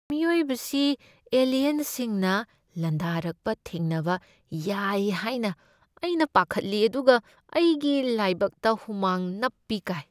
ꯃꯤꯑꯣꯏꯕꯁꯤ ꯑꯂꯤꯌꯟꯁꯤꯡꯅ ꯂꯥꯟꯗꯔꯛꯄ ꯊꯦꯡꯅꯕ ꯌꯥꯏ ꯍꯥꯏꯅ ꯑꯩꯅ ꯄꯥꯈꯠꯂꯤ ꯑꯗꯨꯒ ꯑꯩꯒꯤ ꯂꯥꯏꯕꯛꯇ ꯍꯨꯃꯥꯡ ꯅꯞꯄꯤ ꯀꯥꯏ꯫